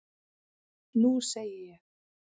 Nú segi ég.